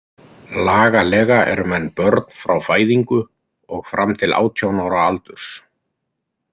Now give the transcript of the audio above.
Lagalega eru menn börn frá fæðingu og fram til átján ára aldurs.